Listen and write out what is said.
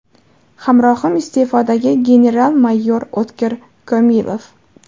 Hamrohim iste’fodagi general-mayor O‘tkir Komilov.